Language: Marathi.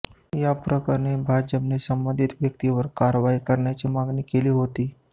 याप्रकरणी भाजपाने संबंधित व्यक्तीवर कारवाई करण्याची मागणी केली होती